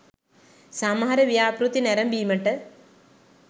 සමහර ව්‍යාපෘති නැරඹීමට